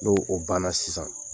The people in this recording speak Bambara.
No o banna sisan